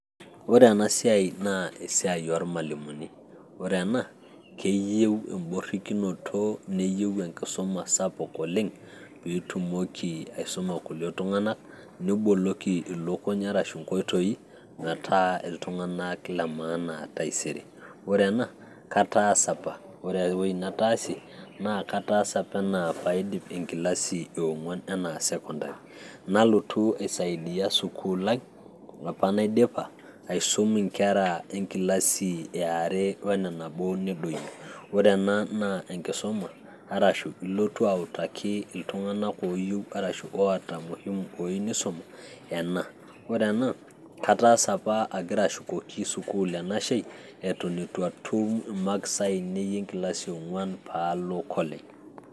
ore ena siai naa esiai oormalimuni, ore ena naa keyieu eworikinoto neyieu enkisuma sapuk oleng pee itumoki aisuma kulie tunganak, niboloki ilukny ashu nkoitoi, metaa iltunganak lemaana taisere. ore ena kataasa apa, ore ewueji nataasie, nakataasa apa ena pee aidip enkilasi e ong'uan enaa sekondari, nalotu aisaidia sukuul ai apa naidipa. aisum inkera enkilasi eare one nabo nedoyio, ore ena naa enkisuma, ilotu autaki iltunganak ooyie nisumi, ore ena kataasa apa agira ashukoki sukuul enashe eton eituu atum imakisi aiinei pee alo college